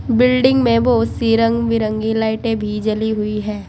Building में बहोत सी रंग बिरंगी लाइटे भी जली हुई है।